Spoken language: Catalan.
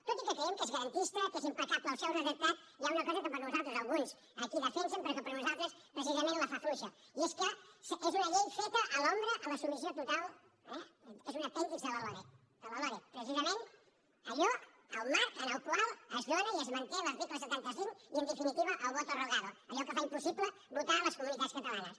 tot i que creiem que és garantista que és impecable el seu redactat hi ha una cosa que per nosaltres alguns aquí la defensen però que per nosaltres precisament la fa fluixa i és que és una llei feta a l’ombra a la submissió total eh és un apèndix de la loreg de la loreg precisament allò el marc en el qual es dóna i es manté l’article setanta cinc i en definitiva el voto rogado allò que fa impossible votar a les comunitats catalanes